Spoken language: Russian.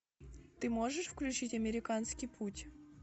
ты можешь включить американский путь